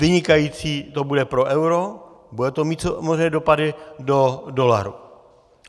Vynikající to bude pro euro, bude to mít samozřejmě dopady pro dolar.